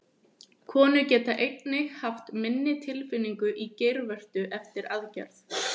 Konur geta einnig haft minni tilfinningu í geirvörtu eftir aðgerð.